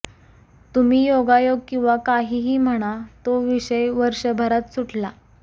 तुम्ही योगायोग किंवा काहीही म्हणा तो विषय वर्षभरात सुटला